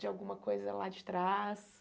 De alguma coisa lá de trás?